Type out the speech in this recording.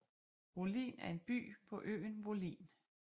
Wollin er en by på øen Wollin